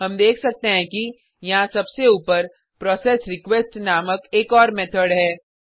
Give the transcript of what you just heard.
हम देख सकते हैं कि यहाँ सबसे ऊपर प्रोसेसरीक्वेस्ट नामक एक और मेथड है